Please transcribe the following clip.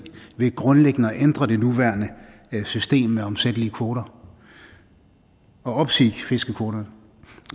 ved grundlæggende at ændre det nuværende system med omsættelige kvoter og opsige fiskekvoterne